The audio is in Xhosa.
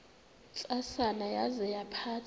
ntsasana yaza yaphatha